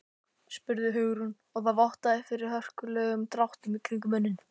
spurði Hugrún og það vottaði fyrir hörkulegum dráttum kringum munninn.